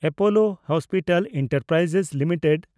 Apollo hospital enterprise limited